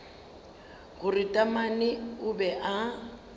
gore taamane o be a